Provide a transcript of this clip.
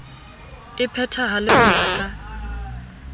e phethahale ho ya ka